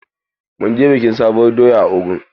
Mun je bikin sabuwar doya a Ogun.